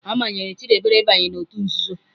A manyere Chidebere ịbanye n'òtù nzuzo.